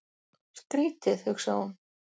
Skrýtið, hugsaði hún.